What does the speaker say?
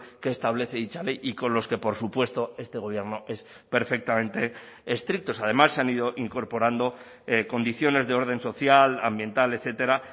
que establece dicha ley y con los que por supuesto este gobierno es perfectamente estrictos además se han ido incorporando condiciones de orden social ambiental etcétera